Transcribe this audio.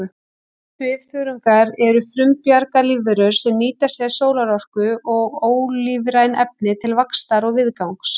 Svifþörungar eru frumbjarga lífverur sem nýta sér sólarorku og ólífræn efni til vaxtar og viðgangs.